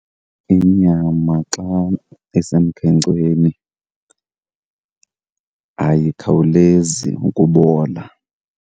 Inyama xa isemkhenkceni ayikhawulezi ukubola.